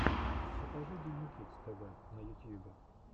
покажи диму кидс тэ вэ на ютьюбе